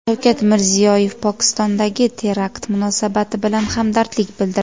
Shavkat Mirziyoyev Pokistondagi terakt munosabati bilan hamdardlik bildirdi.